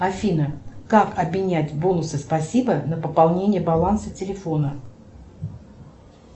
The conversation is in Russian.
афина как обменять бонусы спасибо на пополнение баланса телефона